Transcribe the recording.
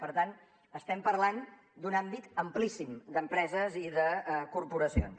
per tant estem parlant d’un àmbit amplíssim d’empreses i de corporacions